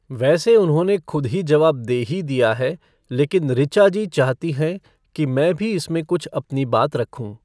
वैसे उन्होंने खुद ही जवाब दे ही दिया है, लेकिन ऋचा जी चाहती हैं कि मैं भी इसमें कुछ अपनी बात रखूँ।